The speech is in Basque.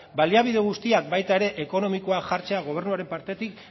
baliabide guztiak baita ere ekonomikoak jartzea gobernuaren partetik